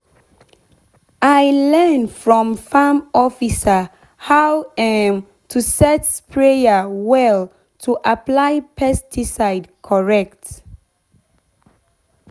i learn from farm officer how um to set sprayer well to apply pesticide correct.